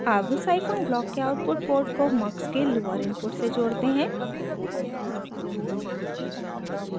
अब scifunc block के output port को mux के लोअर इनपुट से जोड़ते हैं